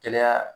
Kɛnɛya